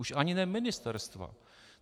Už ani ne ministerstva.